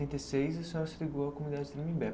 e seis, a senhora se ligou à comunidade do Tremembé.